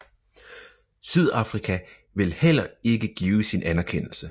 Sydafrika vil heller ikke give sin anerkendelse